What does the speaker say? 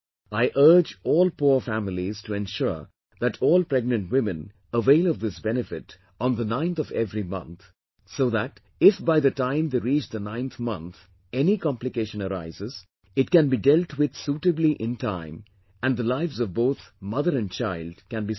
I urge all poor families to ensure that all pregnant women avail of this benefit on the 9th of every month, so that if by the time they reach the 9th month any complication arises, it can be dealt with suitably in time and the lives of both mother and child can be saved